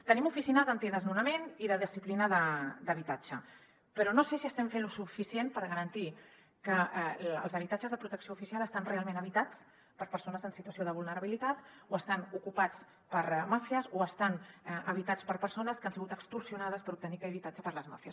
tenim oficines antidesnonament i de disciplina d’habitatge però no sé si estem fent lo suficient per garantir que els habitatges de protecció oficial estan realment habitats per persones en situació de vulnerabilitat o estan ocupats per màfies o estan habitats per persones que han sigut extorsionades per obtenir aquell habitatge per les màfies